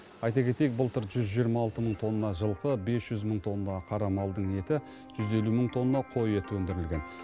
айта кетейік былтыр жүз жиырма алты мың тонна жылқы бес жүз мың тонна қара малдың еті жүз елу мың тонна қой еті өндірілген